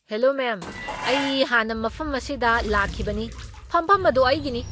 Hello ma'am, ꯑꯩ ꯍꯥꯟꯅ ꯃꯐꯝ ꯑꯁꯤꯗ ꯂꯥꯛꯈꯤꯕꯅꯤ꯫ ꯐꯝꯐꯝ ꯑꯗꯨ ꯑꯩꯒꯤꯅꯤ꯫